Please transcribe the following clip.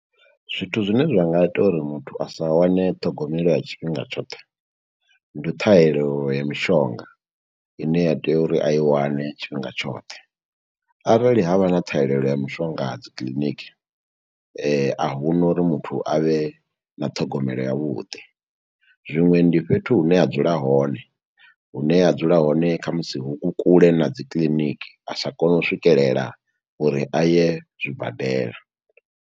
Zwithu zwine zwa nga ita uri muthu a sa wane ṱhogomelo ya tshifhinga tshoṱhe, ndi ṱhahelelo ya mishonga ine ya tea uri a i wane tshifhinga tshoṱhe. Arali havha na ṱhahelelo ya mishonga dzi kiḽiniki, a huna uri muthu a vhe na ṱhogomelo yavhuḓi. Zwiṅwe ndi fhethu hune a dzula hone, hune a dzula hone khamusi hu kule na dzi kiiniki, a sa koni u swikelela uri a ye zwibadela.